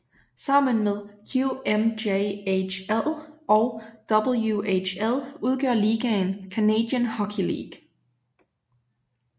Sammen med QMJHL og WHL udgør ligaen Canadian Hockey League